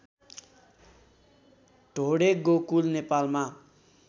ढोडे गोकुल नेपालमा